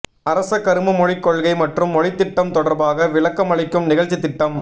அரச கரும மொழிக் கொள்கை மற்றும் மொழித்திட்டம் தொடர்பாக விளக்கமளிக்கும் நிகழ்ச்சித்திட்டம்